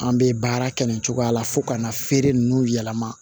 An bɛ baara kɛ nin cogoya la fo ka na feere ninnu yɛlɛma